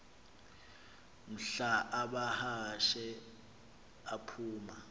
mhla amahashe aphuma